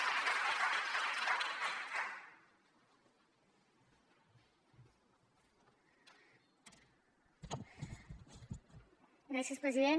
gràcies president